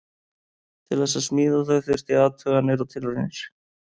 Til þess að smíða þau þurfti athuganir og tilraunir.